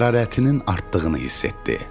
Hərarətinin artdığını hiss etdi.